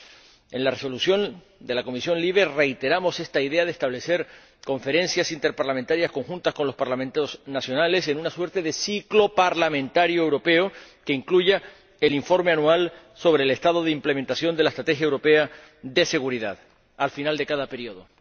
En la propuesta de Resolución de la Comisión LIBE reiteramos esta idea de establecer conferencias interparlamentarias conjuntas con los Parlamentos nacionales en una suerte de ciclo parlamentario europeo que incluya el informe anual sobre el estado de implementación de la Estrategia de Seguridad Interior al final de cada periodo.